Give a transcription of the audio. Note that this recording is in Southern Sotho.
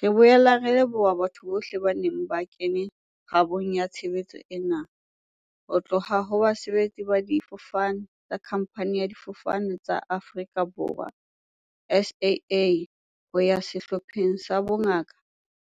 Re boela re leboha batho bohle ba neng ba kene kgabong ya tshebetso ena, ho tloha ho basebetsi ba difofane tsa khamphani ya Difofane tsa Afrika Borwa, SAA, ho ya sehlopheng sa bongaka